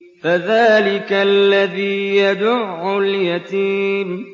فَذَٰلِكَ الَّذِي يَدُعُّ الْيَتِيمَ